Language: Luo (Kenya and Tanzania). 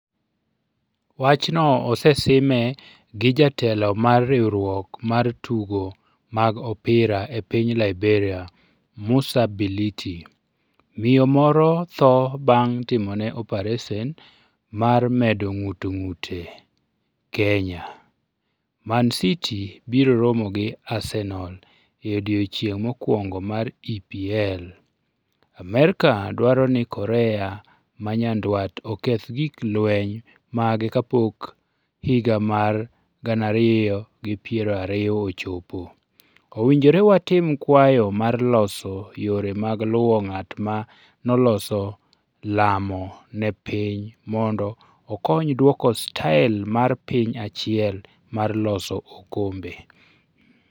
Wachno osesime gi jatelo mar riwruok mar tugo mag opira e piny Liberia Musa Bility Miyo moro tho bang' timone opares mar medo ng'ut ng'ute Kenya Man City biro romo gi Arsenal e odiechieng' mokwongo mar EPL Amerka dwaro ni Korea ma Nyanduat oketh gik lweny mage kapok higa mar 2020 ochopo "Owinjore watim kwayo mar loso yore mag luwo ng'at ma noloso lamo ne piny mondo okony dwoko style mar piny achiel mar loso okombe,".